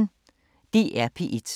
DR P1